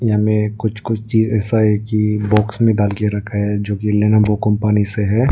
हमें कुछ कुछ चीज़े साइड की बॉक्स में डाल के रखा है जो कि लेनोवो कंपनी से है।